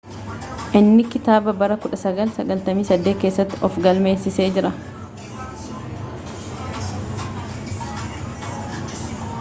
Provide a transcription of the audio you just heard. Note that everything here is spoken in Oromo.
inni kitaaba bara 1998 keessatti of galmeessee jira